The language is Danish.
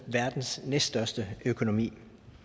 verdens næststørste økonomi